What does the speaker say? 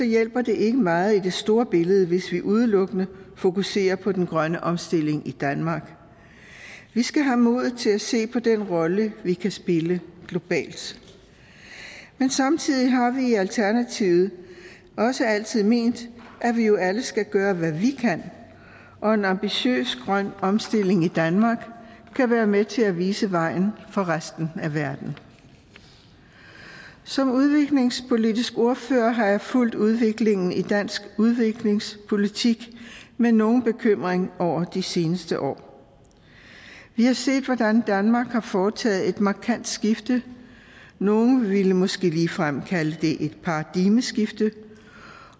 hjælper det ikke meget i det store billede hvis vi udelukkende fokuserer på den grønne omstilling i danmark vi skal have modet til at se på den rolle vi kan spille globalt men samtidig har vi i alternativet også altid ment at vi jo alle skal gøre hvad vi kan og en ambitiøs grøn omstilling i danmark kan være med til at vise vejen for resten af verden som udviklingspolitisk ordfører har jeg fulgt udviklingen i dansk udviklingspolitik med nogen bekymring over de seneste år vi har set hvordan danmark har foretaget et markant skifte nogle vil måske ligefrem kalde det et paradigmeskifte